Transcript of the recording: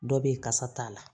Dɔ be yen kasa t'a la